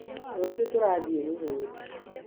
rũciũ turathiĩe mũgũnda.